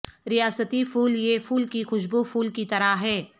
ریاستی پھول یہ پھول کی خوشبو پھول کی طرح ہے